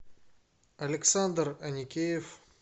александр аникеев